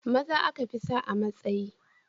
Maza aka fi sa a matsayi